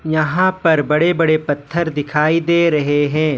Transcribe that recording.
यहां पर बड़े बड़े पत्थर दिखाई दे रहे हैं।